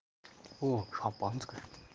о шампанское